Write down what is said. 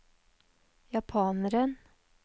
japaneren